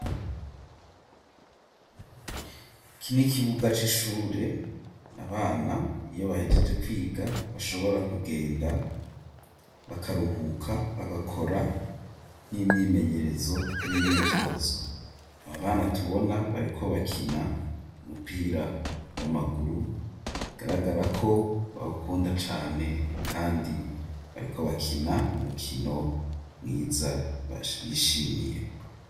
Iki n'ikibuga c'ishure abana iyo bahejeje kwiga bashobora kugenda bakaruhuka bagakora n'imyimenyerezo n'imyitozo aba bana tubona bariko bakina umupira w'amaguru bigaragara ko bahukunda cane kandi bariko bakina umukino mwiza bishimiye